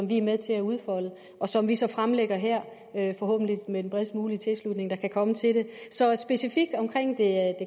vi er med til at udfolde og som vi så fremlægger her forhåbentlig med den bredest mulige tilslutning der kan komme til det så specifikt omkring det